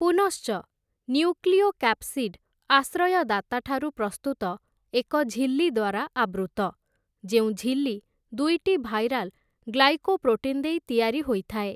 ପୁନଶ୍ଚ, ନ୍ୟୁକ୍ଲିଓକାପସିଡ୍, ଆଶ୍ରୟଦାତାଠାରୁ ପ୍ରସ୍ତୁତ ଏକ ଝିଲ୍ଲୀ ଦ୍ୱାରା ଆବୃତ୍ତ, ଯେଉଁ ଝିଲ୍ଲୀ ଦୁଇଟି ଭାଇରାଲ ଗ୍ଲାଇକୋପ୍ରୋଟିନ୍ ଦେଇ ତିଆରି ହୋଇଥାଏ ।